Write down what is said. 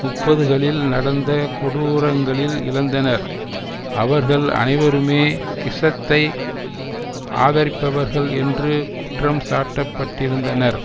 முப்பதுகளில் நடந்த கொடூரங்களில் இழந்தனர் அவர்கள் அனைவருமே கிசத்தை ஆதரிப்பவர்கள் என்று குற்றம் சாட்டப்பட்டிருந்தனர்